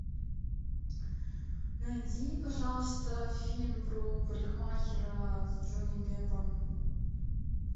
найди пожалуйста фильм про парикмахера с джонни деппом